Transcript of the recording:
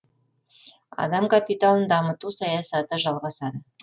адам капиталын дамыту саясаты жалғасады